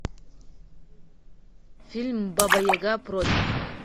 фильм баба яга против